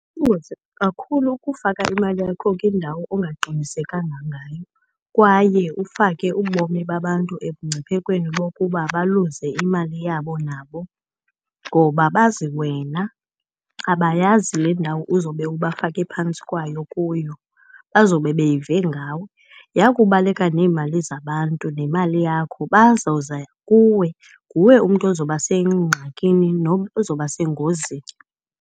Kuyingozi kakhulu ukufaka imali yakho kwindawo ongaqinisekanga ngayo kwaye ufake ubomi babantu ebungciphekweni bokuba baluze imali yabo nabo. Ngoba bazi wena, abayazi le ndawo uzobe ubafake phantsi kwayo kuyo, bazobe beyive ngawe. Yakubaleka neemali zabantu nemali yakho bazoza kuwe, nguwe umntu ozoba sengxakini nozoba sengozini.